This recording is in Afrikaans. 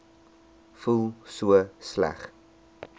voel so sleg